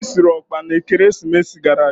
Anyi siri ọkpa na Ekeresimesi gara aga.